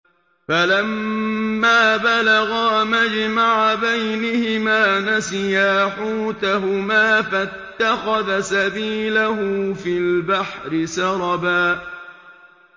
فَلَمَّا بَلَغَا مَجْمَعَ بَيْنِهِمَا نَسِيَا حُوتَهُمَا فَاتَّخَذَ سَبِيلَهُ فِي الْبَحْرِ سَرَبًا